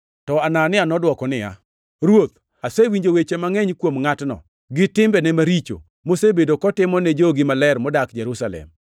To Anania nodwoko niya, “Ruoth, asewinjo weche mangʼeny kuom ngʼatno, gi timbene maricho mosebedo kotimo ni jogi maler modak Jerusalem.